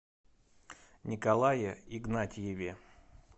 николае игнатьеве